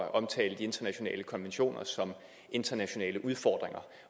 at omtale de internationale konventioner som internationale udfordringer